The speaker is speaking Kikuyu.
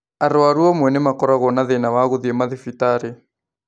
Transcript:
Arwaru amwe nĩ makoragwo na thĩna wa gũthiĩ mathibitarĩ